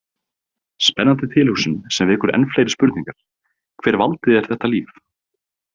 Spennandi tilhugsun sem vekur enn fleiri spurningar Hver valdi þér þetta líf?